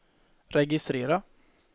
registrera